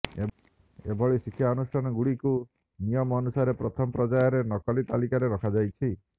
ଏଭଳି ଶିକ୍ଷାନୁଷ୍ଠାନଗୁଡିକୁ ନିୟମ ଅନୁସାରେ ପ୍ରଥମ ପର୍ଯ୍ୟାୟରେ ନକଲି ତାଲିକାରେ ରଖାଯାଇଛି